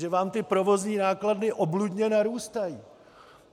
Že vám ty provozní náklady obludně narůstají!